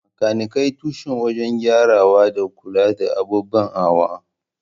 Makanikai tushe wajen gyarawa da kula da ababen hawa.